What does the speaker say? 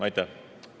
Aitäh!